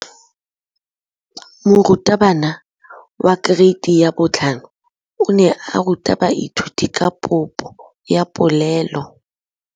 Moratabana wa kereiti ya 5 o ne a ruta baithuti ka popô ya polelô.